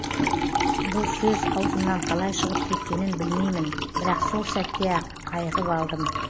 бұл сөз аузыман қалай шығып кеткенін білмеймін бірақ сол сәтте ақ айығып алдым